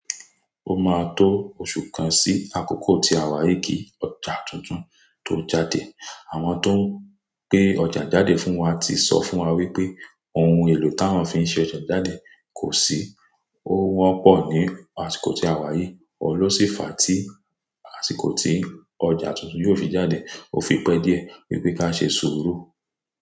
Ó máa tó oṣù kan sí àkókò tí àwa yìí kí ọjà tuntun tó jáde. Àwọn tó ń gbé ọjà jáde fún wa ti sọ fún wa wípé ohun èlò táwọn fi ṣe ọjà jáde kò sí, ó wọ́n pọ̀ ní àsìkò tí àwa yìí. Olósì fàá tí àsìkò tí ọjà tuntun yóò fi jáde, ó fipẹ́ díẹ̀ wípé ká ṣe sùúrù.